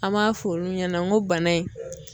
An b'a f'olu ɲɛnɛ n go bana in